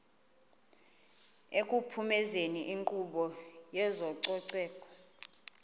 ekuphumezeni inkqubo yezococeko